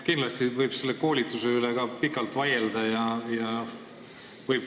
Kindlasti võib selle koolituse üle pikalt vaielda.